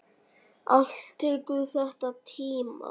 Allt tekur þetta tíma.